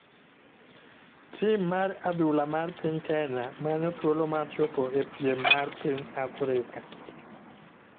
Tima mar adhula mar piny Kenya manyo thuolo mar chopo e piem mar piny Afrika.